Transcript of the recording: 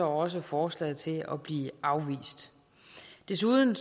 også forslaget til at blive afvist desuden